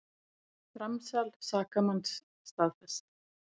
Framsal sakamanns staðfest